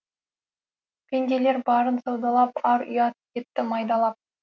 пенделер барын саудалап ар ұят кетті майдалап